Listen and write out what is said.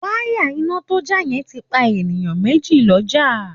Wáyà iná tó já yẹn ti pa èèyàn mèjì lọ́jà